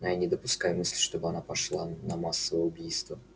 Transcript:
но я не допускаю мысли что она пошла бы на массовое убийство